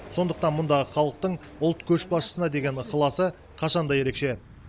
сондықтан мұндағы халықтың ұлт көшбасшысына деген ықыласы қашан да ерекше